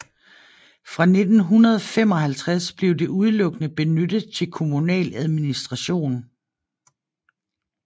Fra 1955 blev det udelukkende benyttet til kommunal administration